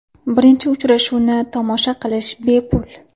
Birinchi uchrashuvni tomosha qilish bepul.